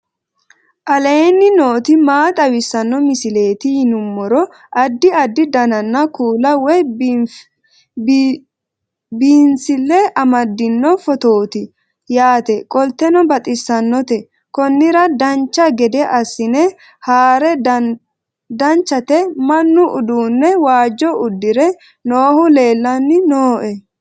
aleenni nooti maa xawisanno misileeti yinummoro addi addi dananna kuula woy biinsille amaddino footooti yaate qoltenno baxissannote konnira dancha gede assine haara danchate mannu uduunne waajjo udure noohu leellanni nooe